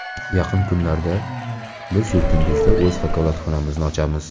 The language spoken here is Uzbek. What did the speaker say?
Yaqin kunlarda biz yurtingizda o‘z vakolatxonamizni ochamiz.